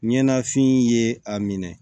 Ɲanafin ye a minɛ